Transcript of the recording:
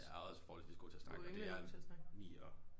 Jeg er også forholdsvis god til at snakke og det er Mie også